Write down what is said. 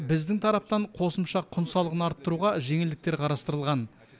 біздің тараптан қосымша құн салығын арттыруға жеңілдіктер қарастырылған